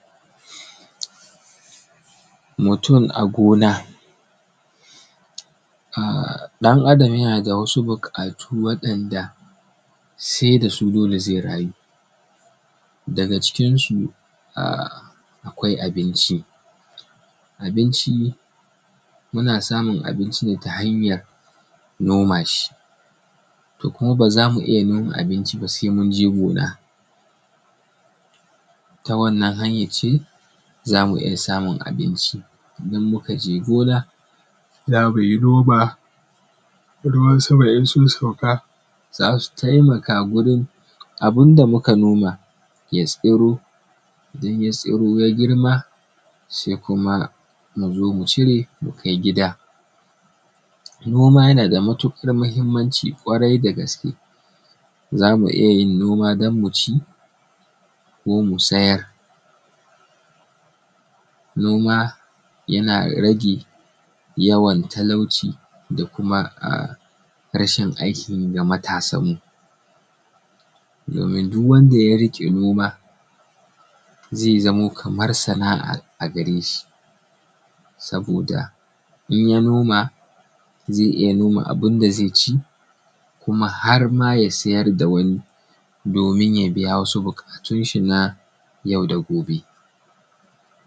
Mutum a gona. Ɗan Adam yana da wasu buƙatu wanda sai da su zai rayu. Daga cikin su akwai abinci, abinci muna samun abinci ne ta hanya noma shi to kuma ba za mu iya noma abinci ba sai mun je gona. Ta wannan hanyan ce za mu iya samun abinci idan muka je gona za mu yi noma, ruwan sama idan sun sauka, za su taimaka wurin abun da muka noma ya tsiro, idan ya tsiro ya girma sai kuma mu zo mu cire mu kai gida. Noma yana da matuƙar muhimmanci ƙwarai da gaske, za mu iya yin noma don mu ci ko mu siyar. Noma yana rage yawan talauci da kuma rashin aikin yi ga matasan mu. Domin duk wanda ya riƙe noma zai zamo kamar sana'a a gare shi saboda in ya noma zai iya noma abin da zai ci kuma har ma ya siyar da wani domin ya biya wasu buƙatun shi na yau da gobe.